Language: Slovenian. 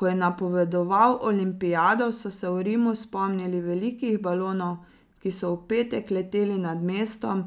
Ko je napovedoval olimpijado, so se v Rimu spomnili velikih balonov, ki so v petek leteli nad mestom,